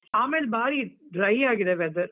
ಆಮೇಲ್ ಬಾರೀ dry ಆಗಿದೆ weather .